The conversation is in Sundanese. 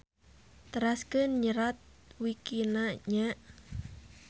Teraskeun nyerat wikina nya.